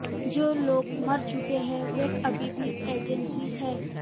जो लोग मर चुके हैं वे अभी भी एजेंसी हैं